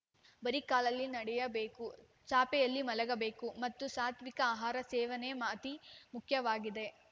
ಬರಿ ಕಾಲಲ್ಲಿ ನಡೆಯಬೇಕು ಚಾಪೆಯಲ್ಲಿ ಮಲಗಬೇಕು ಮತ್ತು ಸಾತ್ವಿಕ ಅಹಾರ ಸೇವನೆ ಅತಿ ಮುಖ್ಯವಾಗಿದೆ